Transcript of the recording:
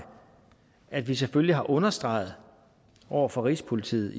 at vi selvfølgelig har understreget over for rigspolitiet